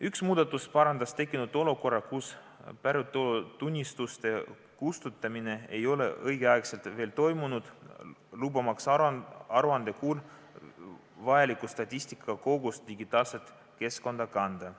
Üks muudatusettepanek parandas tekkinud olukorra, kus päritolutunnistuste kustutamine ei ole õigeaegselt veel toimunud, lubamaks aruandekuul vajalikku statistika kogust digitaalsesse keskkonda kanda.